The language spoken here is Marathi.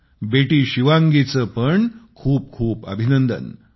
बेटी शिवांगीचे पण खूप खूप अभिनंदन